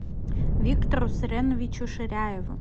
виктору суреновичу ширяеву